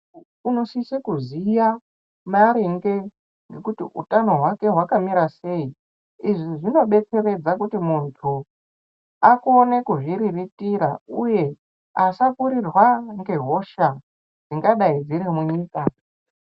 Unosisa kuziya maringe nekuti utano hwake hwakamira sei izvi zvinodetseredza kuti muntu akone kuzviriritira uye asakurirwa ngehosha dzingadayi dzirimunyika